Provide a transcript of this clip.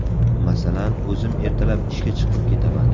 Masalan, o‘zim ertalab ishga chiqib ketaman.